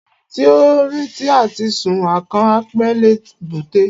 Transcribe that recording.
Ẹni tí ó ń retí àti sun akàn, á pẹ́ l'èbúté.